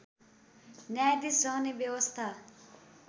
न्यायाधीस रहने व्यवस्था